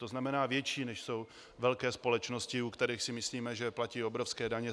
To znamená větší, než jsou velké společnosti, o kterých si myslíme, že platí obrovské daně.